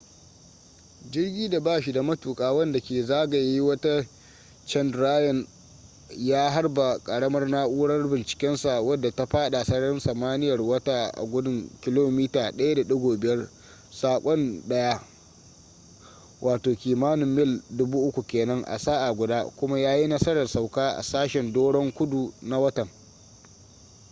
jirgi da ba shi da matuka wanda ke zagaya wata chandrayan-1 ya harba karamar na’urar bincikensa wadda ta fada sararin samaniyar wata a gudun kilomita 1.5 a sakan daya wato kimanin mil 3000 kenan a sa’a guda kuma ya yi nasarar sauka a sashen doron kudu na watan